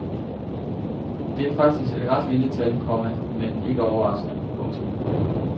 Det er faktisk et ret lille tal, komma men ikke overraskende. punktum